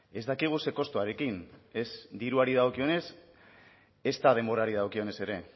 ez dakigu zer kostuarekin ez diruari dagokionez ezta denborari dagokionez ere